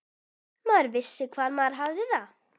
Maður vissi hvar maður hafði það.